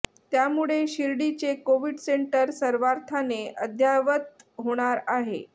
त्यामुळे शिर्डीचे Covid centre सर्वार्थाने अद्ययावत होणार आहे